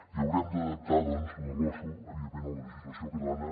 i haurem d’adaptar doncs la losu evidentment a la legislació catalana